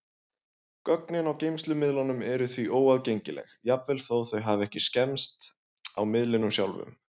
Gögnin á geymslumiðlunum eru því óaðgengileg, jafnvel þó þau hafi ekki skemmst á miðlinum sjálfum.